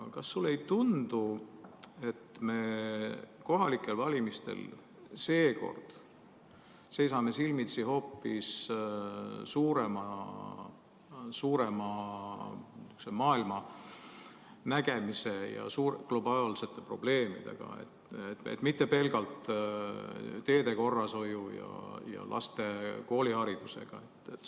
Kas sulle ei tundu, et me kohalikel valimistel seisame seekord silmitsi hoopis suurema niisuguse maailmanägemisega ja globaalsete probleemidega, mitte pelgalt teede korrashoiu ja laste kooliharidusega?